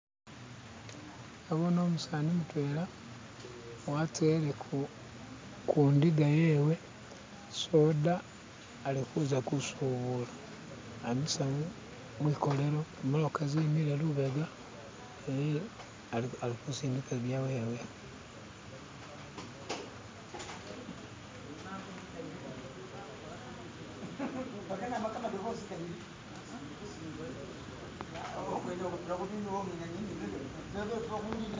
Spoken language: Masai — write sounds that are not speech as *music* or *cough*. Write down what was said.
nabone umusaani mutwela watele kundiga yewe soda akikuza kusubula amisa mwikolero zimotoka zimile lubega niye alikusindika byawewe "*skip*"